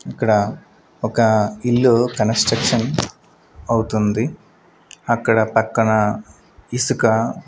ఇక్కడ ఒక ఇల్లు కన్స్ట్రక్షన్ అవుతుంది అక్కడ పక్కన ఇసుక--